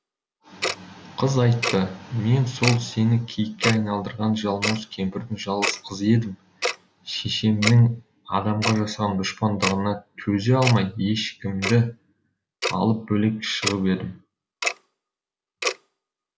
қыз айтты мен сол сені киікке айналдырған жалмауыз кемпірдің жалғыз қызы едім шешемнің адамға жасаған дұшпандығына төзе алмай ешкімді алып бөлек шығып едім